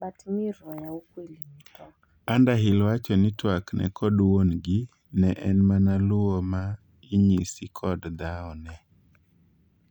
Underhill wacho ni twakne kod wuon gi ne en mana luwo ma inyisi kod dhaone